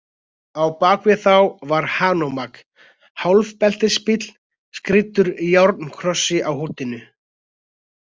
Á bak við þá var Hanomag- hálfbeltisbíll skrýddur járnkrossi á húddinu.